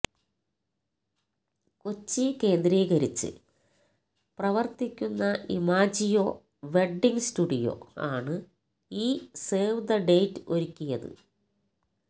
കൊച്ചി കേന്ദ്രീകരിച്ച് പ്രവർത്തിക്കുന്ന Imagio wedding studio ആണ് ഈ സേവ് ദ് ഡേറ്റ് ഒരുക്കിയത്